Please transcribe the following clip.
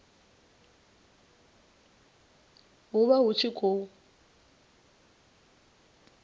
hu vha hu tshi khou